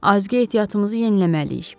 Azqə ehtiyatımızı yeniləməliyik.